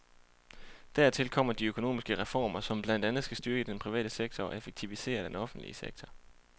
Dertil kommer de økonomiske reformer, som blandt andet skal styrke den private sektor og effektivisere den offentlige sektor.